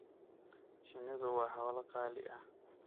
Shinnidu waa xoolo qaali ah.